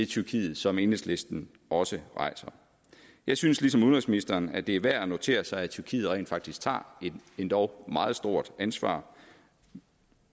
tyrkiet som enhedslisten også rejser jeg synes ligesom udenrigsministeren at det er værd at notere sig at tyrkiet rent faktisk tager et endog meget stort ansvar